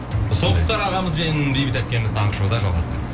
тоқтар ағамыз бен бейбіт әпкеміз таңғы шоуда жалғастырамыз